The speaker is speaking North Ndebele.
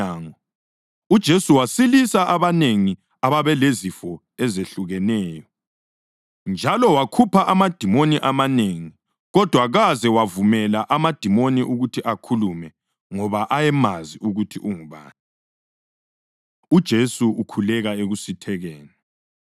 uJesu wasilisa abanengi ababelezifo ezehlukeneyo. Njalo wakhupha amadimoni amanengi, kodwa kaze awavumela amadimoni ukuthi akhulume ngoba ayemazi ukuthi ungubani. UJesu Ukhuleka Ekusithekeni